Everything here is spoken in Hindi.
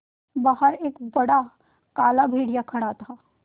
बाहर एक बड़ा काला भेड़िया खड़ा था